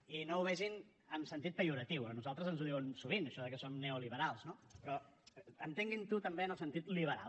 i no ho vegin amb sentit pejoratiu a nosaltres ens ho diuen sovint això de que som neoliberals no però entenguin ho també en el sentit liberal